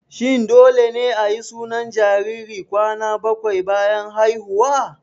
Shin dole ne ayi sunan jariri kwana bakwai bayan haihuwa?